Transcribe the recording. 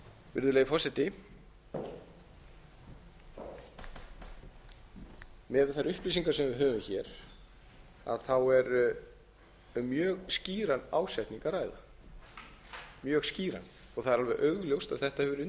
virðulegi forseti miðað við þær upplýsingar sem við höfum hér er um mjög skýran ásetning að ræða og það er alveg augljóst að þetta hefur